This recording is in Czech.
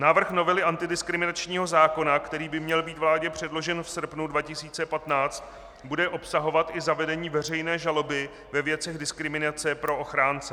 Návrh novely antidiskriminačního zákona, který by měl být vládě předložen v srpnu 2015, bude obsahovat i zavedení veřejné žaloby ve věcech diskriminace pro ochránce.